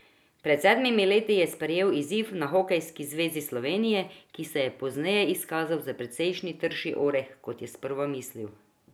Pred sedmimi leti je sprejel izziv na Hokejski zvezi Slovenije, ki se je pozneje izkazal za precej trši oreh, kot je sprva mislil.